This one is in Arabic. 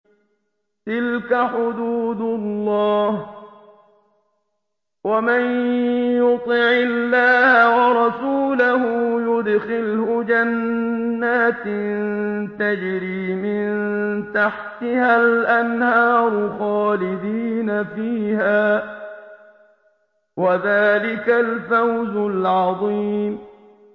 تِلْكَ حُدُودُ اللَّهِ ۚ وَمَن يُطِعِ اللَّهَ وَرَسُولَهُ يُدْخِلْهُ جَنَّاتٍ تَجْرِي مِن تَحْتِهَا الْأَنْهَارُ خَالِدِينَ فِيهَا ۚ وَذَٰلِكَ الْفَوْزُ الْعَظِيمُ